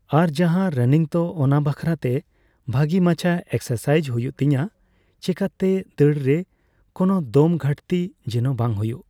ᱟᱨ ᱡᱟᱦᱟᱸ ᱨᱟᱱᱤᱝ ᱛᱚ ᱚᱱᱟ ᱵᱟᱠᱷᱨᱟᱛᱮ ᱵᱷᱟᱹᱜᱤ ᱢᱟᱪᱷᱟ ᱮᱠᱥᱟᱨᱥᱟᱭᱤᱡ ᱦᱩᱭᱩᱜ ᱛᱤᱧᱟᱹ ᱪᱮᱠᱟᱹᱛᱮ ᱫᱟᱹᱲᱨᱮ ᱠᱚᱱᱚ ᱫᱚᱢ ᱜᱷᱟᱹᱴᱛᱤ ᱡᱮᱱᱚ ᱵᱟᱝ ᱦᱩᱭᱩᱜ ᱾